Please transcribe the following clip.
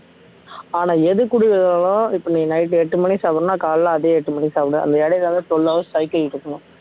ஆனால் எது குடிக்கரியோ இப்போ நீ night எட்டு மணிக்கு சாப்பிடணும்ன்னா காலையிலே அதே எட்டு மணிக்கு சாப்பிடு அந்த இடையிலே வந்து twelve hour strike ஆயிட்டே இருக்கனும்